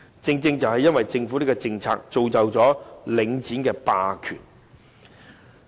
正正是由於政府這政策，結果造成領展的霸權。